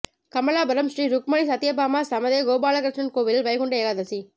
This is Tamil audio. கமலாபுரம் ஸ்ரீ ருக்மணி சத்தியபாமா ஸமேத கோபாலகிருஷ்ணன் கோவிலில் வைகுண்ட ஏகாதேசி